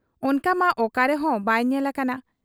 ᱚᱱᱠᱟᱢᱟ ᱚᱠᱟ ᱨᱮᱦᱚᱸ ᱵᱟᱭ ᱧᱮᱞ ᱟᱠᱟᱱᱟ ᱾